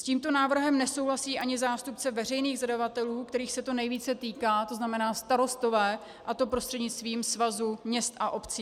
S tímto návrhem nesouhlasí ani zástupce veřejných zadavatelů, kterých se to nejvíce týká, to znamená starostové, a to prostřednictvím Svazu měst a obcí.